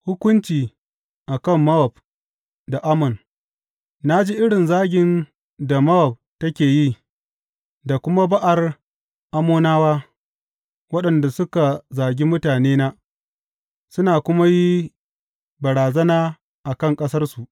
Hukunci a kan Mowab da Ammon Na ji irin zagin da Mowab take yi, da kuma ba’ar Ammonawa, waɗanda suka zagi mutanena suna kuma yi barazana a kan ƙasarsu.